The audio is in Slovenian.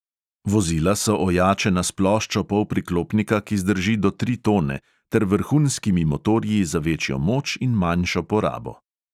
Vozila so ojačena s ploščo polpriklopnika, ki zdrži do tri tone, ter vrhunskimi motorji za večjo moč in manjšo porabo.